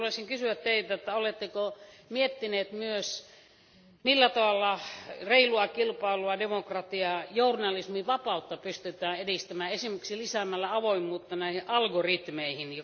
Haluaisinkin kysyä Teiltä, oletteko miettineet myös, millä tavalla reilua kilpailua, demokratiaa ja journalismin vapautta pystytään edistämään esimerkiksi lisäämällä avoimuutta näihin algoritmeihin.